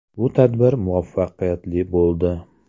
Bu tadbir muvaffaqiyatli bo‘ldi.